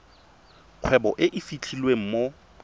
kgwebo e e fitlhelwang mo